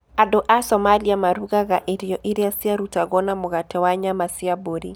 Andũ a Somalia marugaga irio iria ciarutagwo na mũgate na nyama cia mbũri.